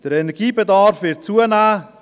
Der Energiebedarf wird zunehmen: